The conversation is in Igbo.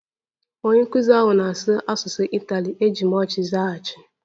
Onye nkụzi ahụ na-asụ asụsụ Itali, eji m ọchị zaghachi